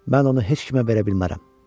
Mən onu heç kimə verə bilmərəm.